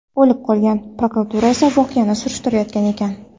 o‘lib qolgan, prokuratura esa voqeani surishtirayotgan ekan.